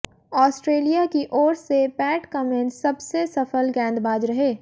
Australia की ओर से पैट कमिंस सबसे सफल गेंदबाज रहे